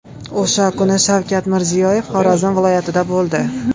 O‘sha kuni Shavkat Mirziyoyev Xorazm viloyatida bo‘ldi.